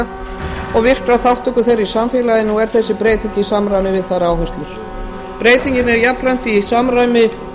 og virkrar þátttöku þeirra í samfélaginu og er þessi breyting í samræmi við þeirra áherslur breytingin er jafnframt í samræmi